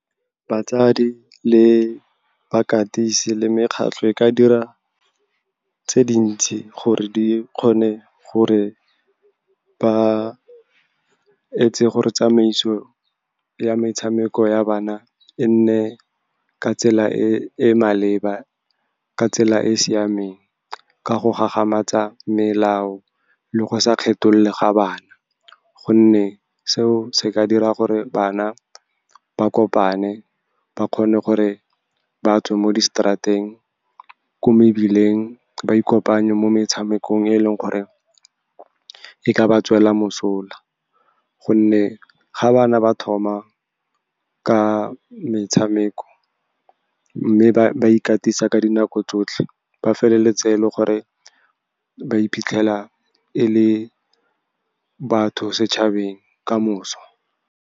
Batsadi le bakatisi le mekgatlho e ka dira tse dintsi gore ba etse gore tsamaiso ya metshameko ya bana e nne ka tsela e e maleba, ka tsela e e siameng, ka go gagamatsa melao le go sa kgetholole ga bana. Gonne seo se ka dira gore bana ba kopane, ba kgone gore ba tswe ko mebileng, ba ikopanye mo metshamekong, e leng gore e ka ba tswela mosola. Gonne ga bana ba thoma ka metshameko, mme ba ikatisa ka dinako tsotlhe, ba feleletse e le gore ba iphitlhela e le batho setšhabeng ka moso.